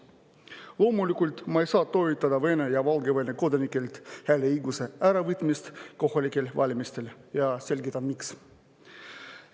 Loomulikult ei saa ma toetada Vene ja Valgevene kodanikelt hääleõiguse äravõtmist kohalikel valimistel, ja selgitan, miks.